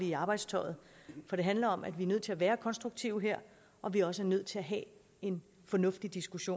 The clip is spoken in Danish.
i arbejdstøjet for det handler om at vi er nødt til at være konstruktive her og vi er også nødt til at have en fornuftig diskussion